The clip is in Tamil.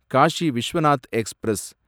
Cauchy Vishwanath express